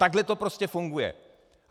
Takhle to prostě funguje.